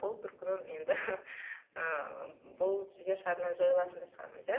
ол бір күні енді ы бұл жер шарынан жойылатын да шығармыз иә